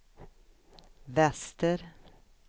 väster